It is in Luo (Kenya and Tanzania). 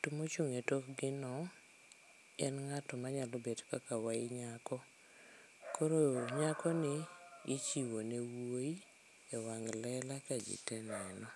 To mochung' e tokgi no, en ng'ato manyalo bet kaka wayi nyako. Koro nyakoni ichiwo ne wuoyi e wang' lela ka ji te neno